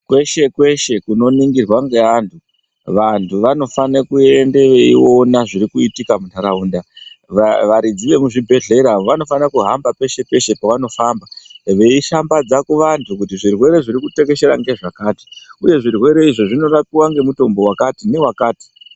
Kweshe kweshe kunoningirwa ngeantu, vantu vanofanira kuende veyiona zvirikuitika muntaraunda. Varidzi zvemuzvibhedhleya vanofanira kuhamba peshe peshe pavanofamba veyishambadza kuvantu kuti zvirwere zviri kutekeshera ngezvakati uye zvirwere izvi zvinorapiwa ngemutombo wakati newakati.